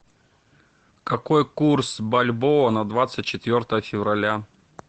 какой курс бальбоа на двадцать четвертое февраля